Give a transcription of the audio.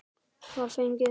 Svar fengið.